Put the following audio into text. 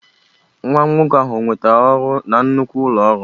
Nwa nwoke ahụ ọ nwetara ọrụ na nnukwu ụlọ ọrụ?